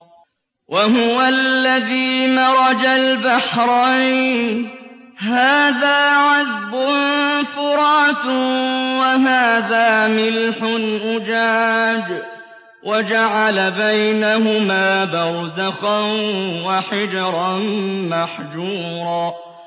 ۞ وَهُوَ الَّذِي مَرَجَ الْبَحْرَيْنِ هَٰذَا عَذْبٌ فُرَاتٌ وَهَٰذَا مِلْحٌ أُجَاجٌ وَجَعَلَ بَيْنَهُمَا بَرْزَخًا وَحِجْرًا مَّحْجُورًا